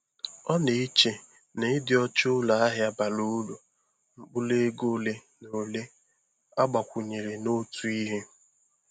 Ọ na-eche na ịdị ọcha ụlọ ahịa bara uru mkpụrụ ego ole na ole agbakwunyere n'otu ihe.